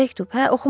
Nə məktub?